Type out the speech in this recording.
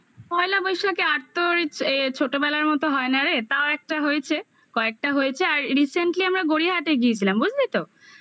পহেলা বৈশাখে ছোটবেলার মতো হয় না রে, তাও একটা হয়েছে. কয়েকটা হয়েছে I আর রিসেন্টলি আমরা গড়িয়াহাটে গিয়েছিলাম, বুঝলি তো?